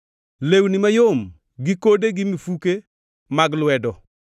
lewni mayom gi kode gi mifuke mag lwedo,